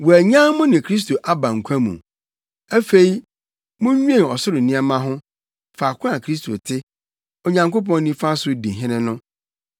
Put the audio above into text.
Wɔanyan mo ne Kristo aba nkwa mu. Afei munnwen ɔsoro nneɛma ho, faako a Kristo te, Onyankopɔn nifa so, di hene no.